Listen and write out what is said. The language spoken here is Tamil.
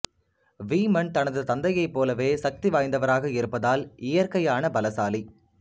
வீமன் தனது தந்தையைப் போலவே சக்திவாய்ந்தவராக இருப்பதால் இயற்கையான பலசாலி